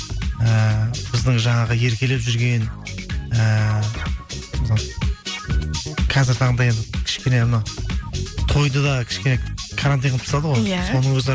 ііі біздің жаңағы еркелеп жүрген ііі қазіргі таңда енді кішкене мына тойды да кішкене карантин қылып тастады ғой иә соның өзі